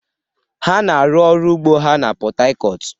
Ha na-arụ ọrụ ugbu a na Port Harcourt